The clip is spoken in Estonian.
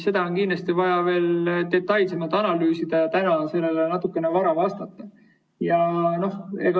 Seda on kindlasti vaja veel detailsemalt analüüsida ja täna on sellele natuke vara vastata.